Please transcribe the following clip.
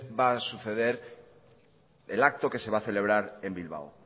va a suceder el acto que se va a celebrar en bilbao